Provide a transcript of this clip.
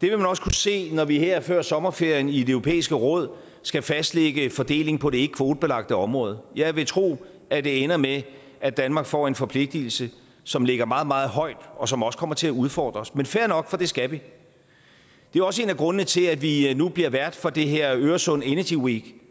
det vil man også kunne se når vi her før sommerferien i det europæiske råd skal fastlægge fordeling på det ikkekvotebelagte område jeg vil tro at det ender med at danmark får en forpligtelse som ligger meget meget højt og som også kommer til at udfordre os men fair nok for det skal vi det er også en af grundene til at vi nu bliver vært for det her øresund energy week